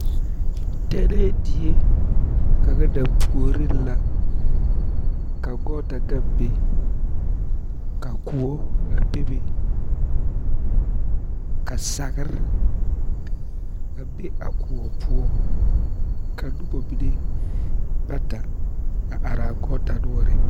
Tennɛɛ die kaŋa dampuoriŋ la ka gɔɔta gaŋ be ka koɔ a bebe ka sagre a be a koɔ poɔ ka noba mine bata a are a koɔ noɔreŋ.